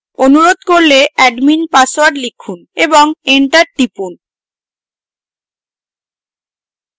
অনুরোধ করলে admin password লিখুন এবং enter টিপুন